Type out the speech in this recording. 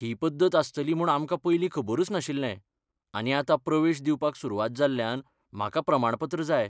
ही पद्दत आसतली म्हूण आमकां पयलीं खबरुच नाशिल्लें, आनी आतां प्रवेश दिवपाक सुरवात जाल्ल्यान म्हाका प्रमाणपत्र जाय.